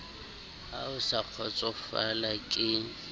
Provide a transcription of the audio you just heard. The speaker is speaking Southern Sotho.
ha o sa kgotsofala ke